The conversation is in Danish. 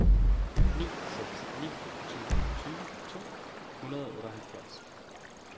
ni seks ni to tyve to hundrede og otteoghalvfjerds